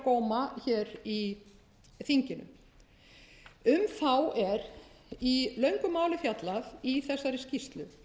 á góma í þinginu um þá er í löngu máli fjallað í þessari skýrslu